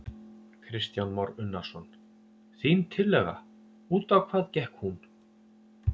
Kristján Már Unnarsson: Þín tillaga, út á hvað gekk hún?